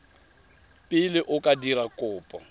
pele o ka dira kopo